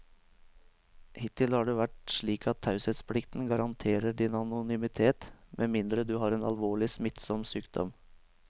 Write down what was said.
Hittil har det vært slik at taushetsplikten garanterer din anonymitet med mindre du har en alvorlig, smittsom sykdom.